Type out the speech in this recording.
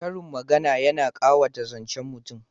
Karin magana yana ƙawata zancen mutum